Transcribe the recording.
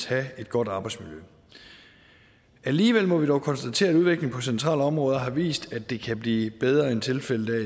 have et godt arbejdsmiljø alligevel må vi konstatere at udviklingen på centrale områder har vist at det kan blive bedre end tilfældet